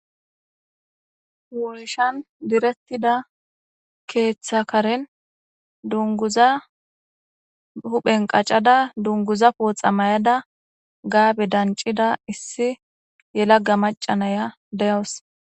woshan direttida keeththakaren dunguza huphen qacada dunguza pooxa mayada gaabe dancida issi yelaga macanaya deyowos